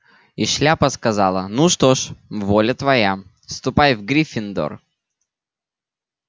и шляпа сказала ну что ж воля твоя ступай в гриффиндор